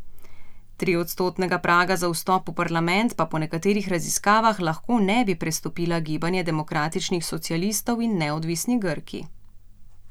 Triodstotnega praga za vstop v parlament pa po nekaterih raziskavah lahko ne bi prestopila Gibanje demokratičnih socialistov in Neodvisni Grki.